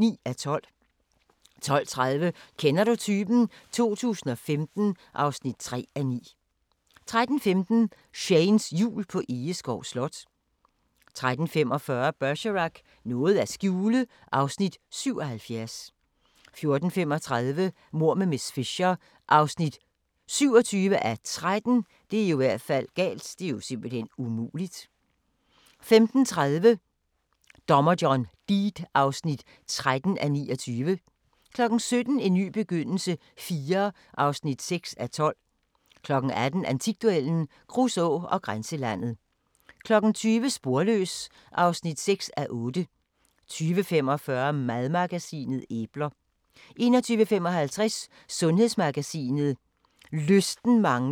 12:30: Kender du typen? 2015 (3:9) 13:15: Shanes Jul på Egeskov Slot 13:45: Bergerac: Noget at skjule (Afs. 77) 14:35: Mord med miss Fisher (27:13) 15:30: Dommer John Deed (13:29) 17:00: En ny begyndelse IV (6:12) 18:00: Antikduellen – Kruså og Grænselandet 20:00: Sporløs (6:8) 20:45: Madmagasinet: Æbler 21:55: Sundhedsmagasinet: Lysten mangler i Lem